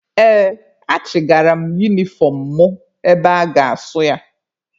Ee, achigara m unifọm mụ ebe a ga-asụ ya.